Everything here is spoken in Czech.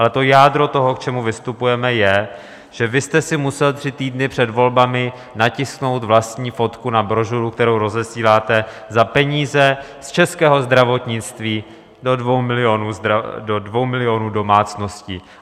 Ale to jádro toho, k čemu vystupujeme, je, že vy jste si musel tři týdny před volbami natisknout vlastní fotku na brožuru, kterou rozesíláte za peníze z českého zdravotnictví do dvou milionů domácností.